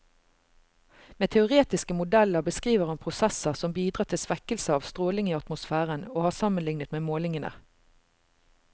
Med teoretiske modeller beskriver han prosesser som bidrar til svekkelse av stråling i atmosfæren, og har sammenlignet med målingene.